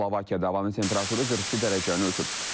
Slovakiyada havanın temperaturu 42 dərəcəni ötüb.